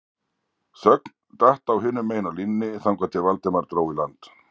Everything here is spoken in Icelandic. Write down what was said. Þögn datt á hinum megin á línunni þangað til Valdimar dró í land